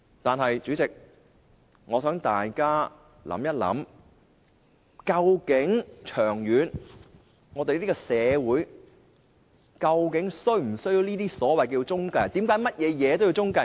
但是，代理主席，我想大家想一想，長遠而言，這個社會究竟是否需要這些所謂中介公司？